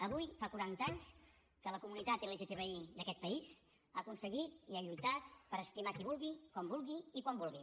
avui fa quaranta anys que la comunitat lgtbi d’aquest país ha aconseguit i ha lluitat per estimar qui vulgui com vulgui i quan vulgui